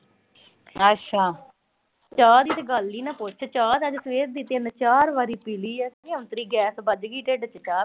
ਚਾਹ ਦੀ ਤਾਂ ਤੂੰ ਗੱਲ ਈ ਨਾ ਪੁੱਛ। ਚਾਹ ਤਾਂ ਅੱਜ ਸਵੇਰ ਦੀ ਤਿੰਨ-ਚਾਰ ਵਾਰੀ ਪੀ ਲਈ ਐ। ਔਂਤਰੀ ਗੈਸ ਬੱਝ ਗੀ ਢਿੱਡ ਚ ਚਾਹੀ ਪੀ -ਪੀ ਕੇ।